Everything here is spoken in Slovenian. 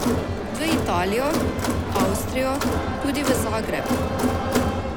V Italijo, Avstrijo, tudi v Zagreb.